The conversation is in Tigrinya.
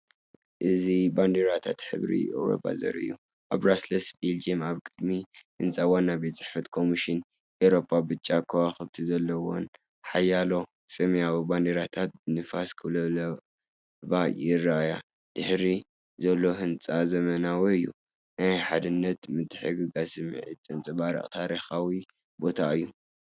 እዚ ባንዴራታት ሕብረት ኤውሮጳ ዘርኢ እዩ። ኣብ ብራስለስ ቤልጅየም ኣብ ቅድሚ ህንጻ ዋናቤት ጽሕፈት ኮሚሽን ኤውሮጳ ብጫ ከዋኽብቲ ዘለወን ሓያሎ ሰማያዊ ባንዴራታት ብንፋስ ክወዛወዛ ይረኣያ። ድሕሪት ዘሎ ህንጻ ዘመናዊ እዩ። ናይ ሓድነትን ምትሕግጋዝን ስምዒት ዘንጸባርቕ ታሪኻዊ ቦታ እዩ።